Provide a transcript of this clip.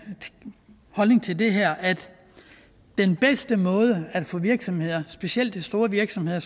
holdning til det her at den bedste måde at få virksomheder specielt de store virksomheder